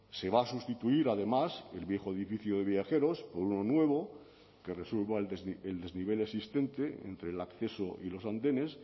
se va a sustituir además el viejo edificio de viajeros por uno nuevo que resuelva el desnivel existente entre el acceso y los andenes